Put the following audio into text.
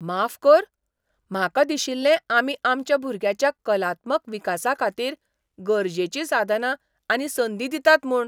माफ कर? म्हाका दिशिल्लें आमी आमच्या भुरग्याच्या कलात्मक विकासाखातीर गरजेचीं साधनां आनी संदी दितात म्हूण.